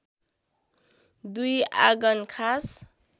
दुई आँगन खास